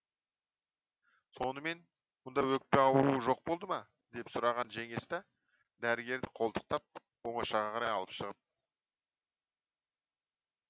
сонымен мұнда өкпе ауруы жоқ болды ма деп сұраған женеста дәрігерді қолтықтап оңашаға қарай алып шығып